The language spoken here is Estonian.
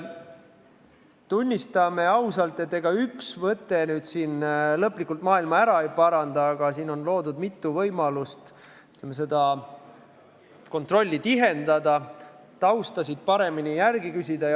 Tunnistame ausalt, et ega üks võte lõplikult maailma ära ei paranda, aga eelnõuga on loodud mitu võimalust seda kontrolli tihendada, tausta kohta paremini järele küsida.